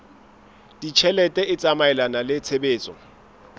ditjhelete e tsamaelana le tshebetso